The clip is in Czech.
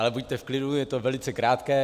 Ale buďte v klidu, je to velice krátké.